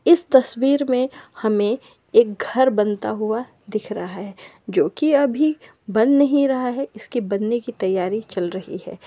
इस तस्वीर में हमें एक घर बनता हुआ दिख रहा है जो की अभी बन नही रहा है इसके बनने की तैयारी चल रही है।